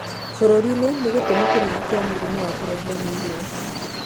Bũrũri-inĩ nĩ gĩtũmi kĩnene kĩa mũrimũ wa kũrehwo nĩ irio.